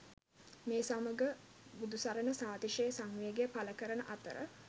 මේ සමග බුදුසරණ සාතිශය සංවේගය පළ කරන අතර